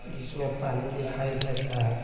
जिसमें पानी दिखाई दे रहा है।